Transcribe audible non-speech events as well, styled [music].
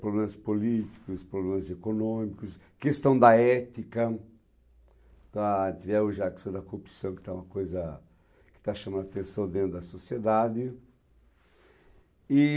problemas políticos, problemas econômicos, questão da ética, da, tiveram [unintelligible] da corrupção que está chamando a atenção dentro da sociedade. E...